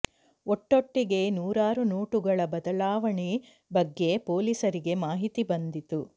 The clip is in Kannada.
ಒಟ್ಟೊಟ್ಟಿಗೆ ನೂರಾರು ನೊಟುಗಳ ಬದಲಾವಣೆ ಬಗ್ಗೆ ಪೊಲೀಸರಿಗೆ ಮಾಹಿತಿ ಬಂದಿತ್ತು